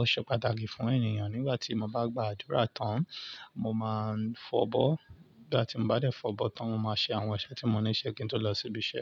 ó ṣe pàtàkì fún ènìyàn. Nígbà tí mo bá gba àdúrà tán, mo máa ń fọ̀bọ́. Nígbà tí mo bá dé fọ̀bọ́ tán, mo máa ṣe àwọn iṣẹ́ tí mo níṣe kí n tó lọ sí ibi iṣẹ́.